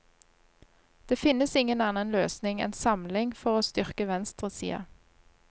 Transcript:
Det finnes ingen annen løsning enn samling for å styrke venstresida.